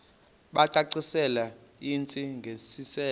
bacacisele intsi ngiselo